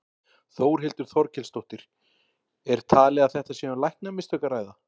Þórhildur Þorkelsdóttir: Er talið að þetta sé um læknamistök að ræða?